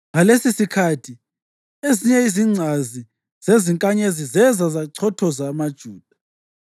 Ngalesisikhathi ezinye izingcazi zezinkanyezi zeza zachothoza amaJuda.